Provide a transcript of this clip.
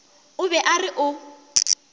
o be a re o